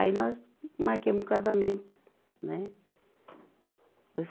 Aí nós marquemos o casamento, né?